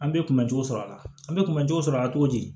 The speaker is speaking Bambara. An bɛ kunbɛ cogo sɔrɔ la an bɛ kunbɛ cogo sɔrɔ a la cogo di